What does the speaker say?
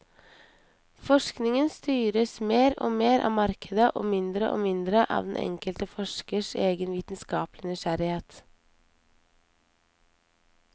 Forskningen styres mer og mer av markedet, og mindre og mindre av den enkelte forskers egen vitenskapelige nysgjerrighet.